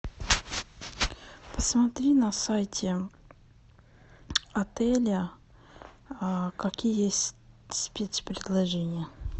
посмотри на сайте отеля какие есть спец предложения